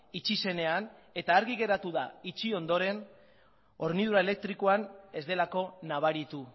itxi zenean eta argi geratu da itxi ondoren hornidura elektrikoan ez delako nabaritu